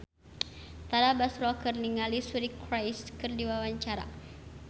Tara Basro olohok ningali Suri Cruise keur diwawancara